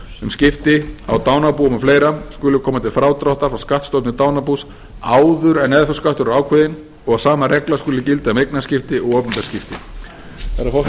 um skipti á dánarbúum og fleiri skuli koma til frádráttar frá skattstofni dánarbús áður en erfðafjárskattur er ákveðinn og sama regla skuli skipta um eignaskipti og opinber skipti herra